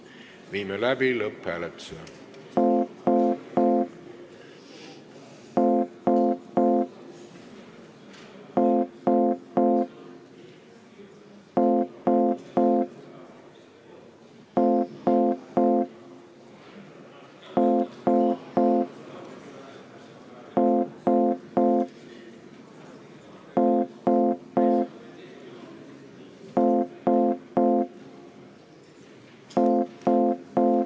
Viime läbi lõpphääletuse.